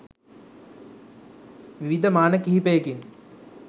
විවිධ මාන කිහිපයකින්